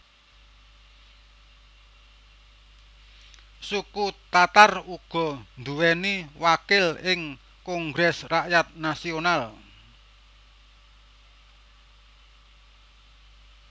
Suku Tatar uga nduwèni wakil ing Kongres Rakyat Nasional